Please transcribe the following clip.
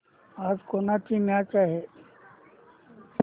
आज कोणाची मॅच आहे